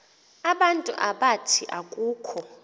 abantu abathi akukho